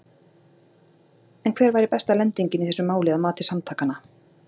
En hver væri besta lendingin í þessu máli að mati samtakanna?